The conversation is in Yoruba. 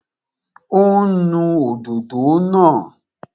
Ó ń nu òdòdó náà